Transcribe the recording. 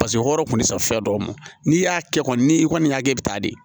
Paseke o kɔrɔ kun tɛ se fɛn dɔw ma n'i y'a kɛ kɔni ni i kɔni y'a kɛ i bɛ taa di